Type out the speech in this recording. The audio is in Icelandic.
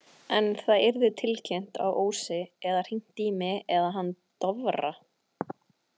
En það yrði tilkynnt á Ósi eða hringt í mig eða hann Dofra.